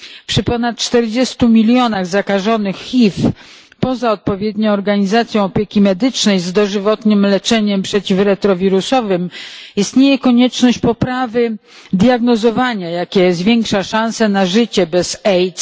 Przy ponad 40 milionach zakażonych HIV, poza odpowiednią organizacją opieki medycznej z dożywotnim leczeniem przeciw retrowirusowym, istnieje konieczność poprawy diagnozowania, jakie zwiększa szansę na życie bez AIDS.